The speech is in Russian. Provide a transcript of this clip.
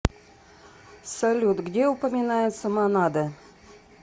салют где упоминается монада